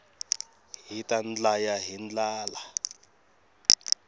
hita ndlaya hi ndlala